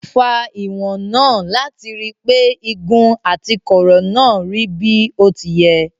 Ó fa ìwọ̀n náà láti rí pé igun àti kọ̀ọ̀rọ̀ náà rí bí ó ti yẹ.